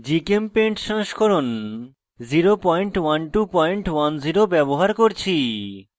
gchempaint সংস্করণ 01210 ব্যবহার করছি